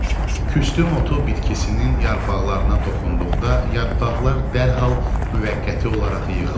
Küstümu bitkisinin yarpaqlarına toxunduqda yarpaqlar dərhal müvəqqəti olaraq yığılır.